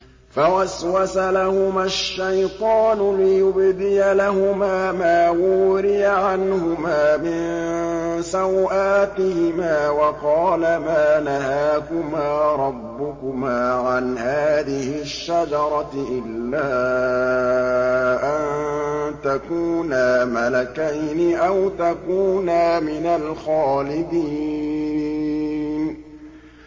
فَوَسْوَسَ لَهُمَا الشَّيْطَانُ لِيُبْدِيَ لَهُمَا مَا وُورِيَ عَنْهُمَا مِن سَوْآتِهِمَا وَقَالَ مَا نَهَاكُمَا رَبُّكُمَا عَنْ هَٰذِهِ الشَّجَرَةِ إِلَّا أَن تَكُونَا مَلَكَيْنِ أَوْ تَكُونَا مِنَ الْخَالِدِينَ